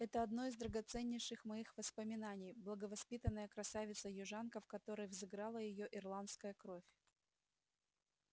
это одно из драгоценнейших моих воспоминаний благовоспитанная красавица-южанка в которой взыграла её ирландская кровь